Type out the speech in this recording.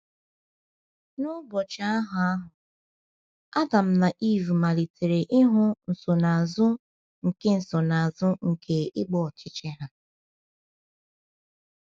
N’ụbọchị ahụ ahụ, Adam na Ivụ malitere ịhụ nsonaazụ nke nsonaazụ nke ịgba ọchịchị ha.